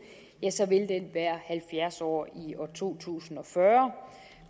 være halvfjerds år i to tusind og fyrre